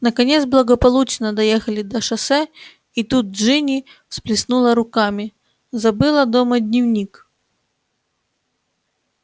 наконец благополучно доехали до шоссе и тут джинни всплеснула руками забыла дома дневник